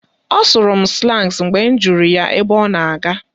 Ọ sụrụ m slans mgbe m jụrụ ya ebe ọ na-aga